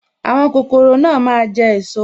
Àwọn kokoro náà máa jẹ esot